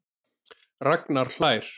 Ragnar hlær.